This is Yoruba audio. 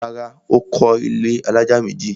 Rárá, Ó kọ́ ilẹ́ alájà méjì